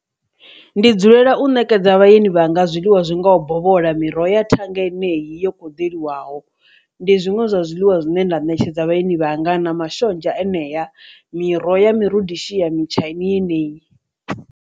Ndi dzulela u ṋekedza vhalimi vha nga zwiḽiwa zwi ngaho bola miroho ya thanga yeneyi yo kho ḓivhelwaho, ndi zwiṅwe zwa zwiḽiwa zwine nda ṋetshedza vhatshini vhangana mashonzha enea miroho ya mirudishiya mutshaini yeneyi.